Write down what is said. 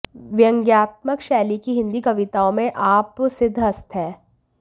व्यंग्यात्मक शैली की हिन्दी कविताओं मे आप सिद्धहस्त है